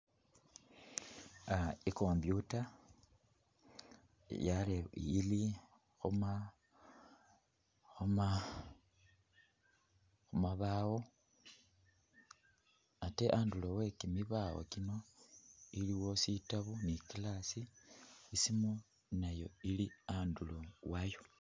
Uh i'computer yererebwile ili khuma khuma khumabaawo ate andulo we kimibaawo ekino iliwo sitaabo ne i'glass, isimu nayo ili andulo waayo.